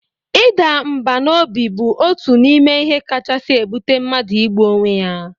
Ịda mbà n'obi bụ otu n'ime ihe kachasi ebụte mmadu igbu onwe ya